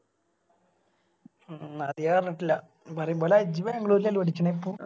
ഉം അത് ഞാനറിഞ്ഞിട്ടില്ല പറയുമ്പോലെ ഇജ്ജ് ബാംഗ്ലൂരല്ലേ പഠിച്ചാണെ ഇപ്പൊ